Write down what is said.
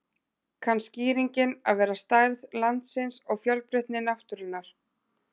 Kann skýringin að vera stærð landsins og fjölbreytni náttúrunnar.